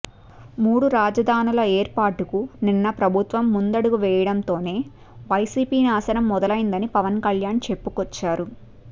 మూడు రాజధానుల ఏర్పాటుకు నిన్న ప్రభుత్వం ముందడుగు వేయడంతోనే వైసీపీ నాశనం మొదలయ్యిందని పవన్ కళ్యాణ్ చెప్పుకొచ్చారు